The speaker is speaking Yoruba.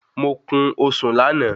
Mo kún osùn láàná